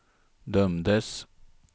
dömdes